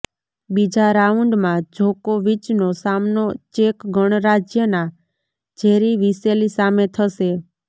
બીજા રાઉન્ડમાં જોકોવિચનો સામનો ચેક ગણરાજ્યના જેરી વિસેલી સામે થશે